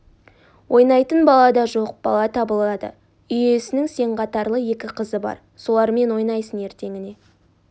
ойнайтын бала да жоқ бала табылады үй иесінің сен қатарлы екі қызы бар солармен ойнайсың ертеңіне